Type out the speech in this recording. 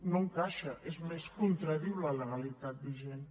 no hi encaixa és més contradiu la legalitat vigent